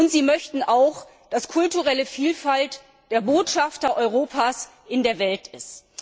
Und sie möchten auch, dass kulturelle Vielfalt der Botschafter Europas in der Welt ist.